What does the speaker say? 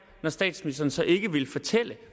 når statsministeren så ikke vil fortælle